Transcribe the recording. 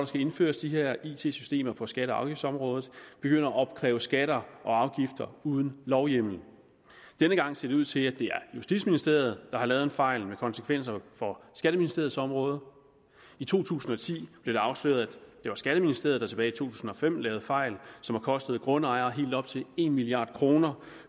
skal indføres de her it systemer på skatte og afgiftsområdet begynder at opkræve skatter og afgifter uden lovhjemmel denne gang ser det ud til at det er justitsministeriet har lavet en fejl med konsekvenser for skatteministeriets område i to tusind og ti blev det afsløret at det var skatteministeriet der tilbage tusind og femten lavede fejl som har kostet grundejere helt op til en milliard kroner